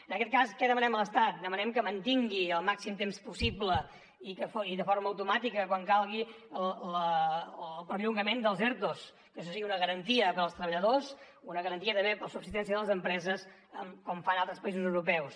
en aquest cas què demanem a l’estat demanem que mantingui el màxim temps possible i de forma automàtica quan calgui el perllongament dels ertos que això sigui una garantia per als treballadors i una garantia també per a la subsistència de les empreses com fan altres països europeus